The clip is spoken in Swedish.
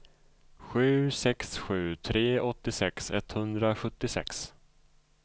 sju sex sju tre åttiosex etthundrasjuttiosex